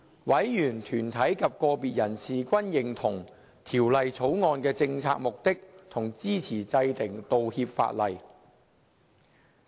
委員、團體及個別人士均認同《條例草案》的政策目的及支持制定道歉法例。